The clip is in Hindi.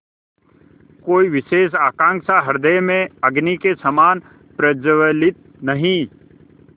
कोई विशेष आकांक्षा हृदय में अग्नि के समान प्रज्वलित नहीं